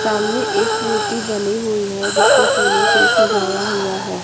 सामने एक मूर्ति बनी हुई है जिसको फूलों से सजाया हुआ है।